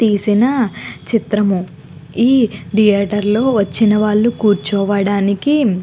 తీసిన చిత్రము ఈ థియేటర్ లో వచ్చినవారు కూర్చవనటానికి.